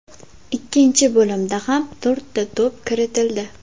Ikkinchi bo‘limda ham to‘rtta to‘p kiritildi.